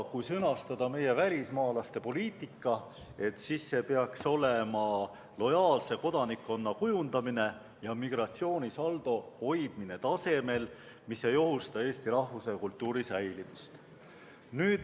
Kui sõnastada meie välismaalastepoliitika, siis see peaks olema lojaalse kodanikkonna kujundamine ja migratsioonisaldo hoidmine tasemel, mis ei ohusta eesti rahvuse ja kultuuri säilimist.